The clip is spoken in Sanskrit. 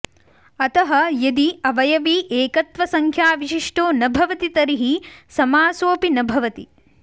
अतः यदि अवयवी एकत्वसंख्याविशिष्टो न भवति तर्हि समासोऽपि न भवति